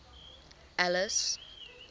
alice